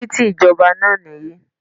This is the express way